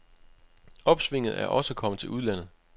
Opsvinget er også kommet til udlandet.